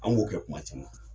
An b'o kɛ kuma caman